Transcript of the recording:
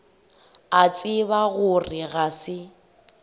a tseba gore ga se